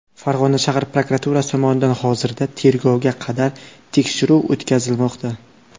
Farg‘ona shahar prokuraturasi tomonidan hozirda tergovga qadar tekshiruv o‘tkazilmoqda.